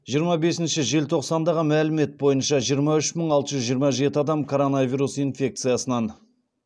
жиырма бесінші желтоқсандағы мәлімет бойынша жиырма үш мың алты жүз жиырма жеті адам короновирус инфекциясынан